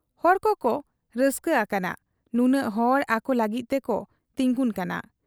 ᱦᱚᱲ ᱠᱚᱠᱚ ᱨᱟᱹᱥᱠᱟᱹ ᱟᱠᱟᱱᱟ ᱱᱩᱱᱟᱹᱜ ᱦᱚᱲ ᱟᱠᱚ ᱞᱟᱹᱜᱤᱫ ᱛᱮᱠᱚ ᱛᱤᱸᱜᱩᱱ ᱠᱟᱱᱟ ᱾